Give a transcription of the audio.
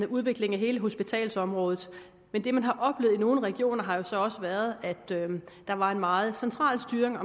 udviklingen af hele hospitalsområdet men det man har oplevet i nogle regioner har jo så også været at der var en meget central styring